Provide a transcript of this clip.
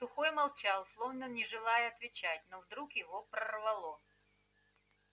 сухой молчал словно не желая отвечать но вдруг его прорвало